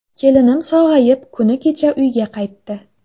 Kelinim sog‘ayib, kuni kecha uyga qaytdi.